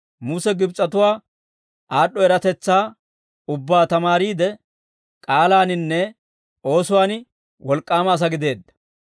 Muse Gibs'atuwaa aad'd'o eratetsaa ubbaa tamaariide, k'aalaaninne oosuwaan wolk'k'aama asaa gideedda.